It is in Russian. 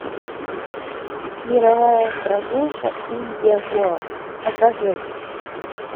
мировая прогулка индия гоа покажи